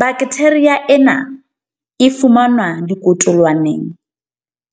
Baktheria ena e fumanwa dikotolwaneng